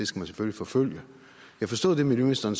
skal forfølge jeg forstod det miljøministeren